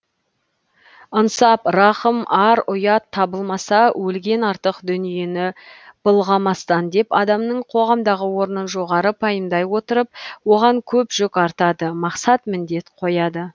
ынсап рақым ар ұят табылмаса өлген артық дүниені былғамастан деп адамның қоғамдағы орнын жоғары пайымдай отырып оған көп жүк артады мақсат міндет қояды